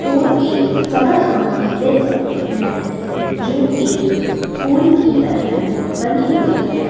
और एक सड़क हम देख सकते हैं जो एक पूल की तरह बनी हुई हैं।